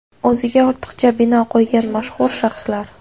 O‘ziga ortiqcha bino qo‘ygan mashhur shaxslar.